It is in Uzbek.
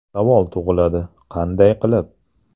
Savol tug‘iladi: qanday qilib?